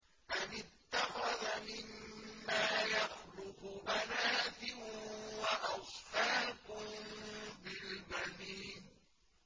أَمِ اتَّخَذَ مِمَّا يَخْلُقُ بَنَاتٍ وَأَصْفَاكُم بِالْبَنِينَ